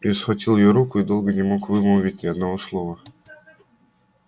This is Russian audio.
я схватил её руку и долго не мог вымолвить ни одного слова